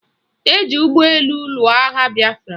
Eji ụgbọelu lụọ agha bịafra.